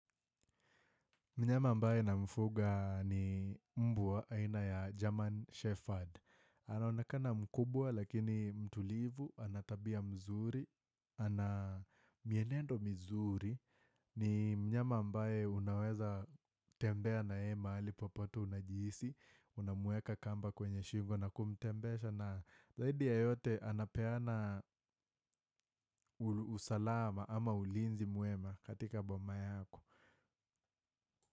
Mnyama ambaye na mfuga ni mbwa aina ya German Shefferd. Ana onekana mkubwa lakini mtulivu, anatabia mzuri, ana mienendo mizuri, ni mnyama ambaye unaweza tembea na yeye mahali popote unajihisi, unamuweka kamba kwenye shingo na kumtembesha na zaidi ya yote anapeana usalama ama ulinzi mwema katika boma yako.